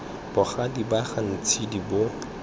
bogadi ba ga ntshidi bo